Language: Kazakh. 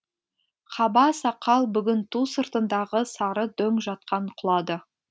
қаба сақал бүгін ту сыртындағы сары дөң жатқан құлады